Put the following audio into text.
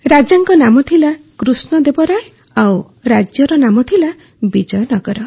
ରାଜାଙ୍କ ନାମ ଥିଲା କୃଷ୍ଣଦେବ ରାୟ ଓ ରାଜ୍ୟର ନାମ ଥିଲା ବିଜୟନଗର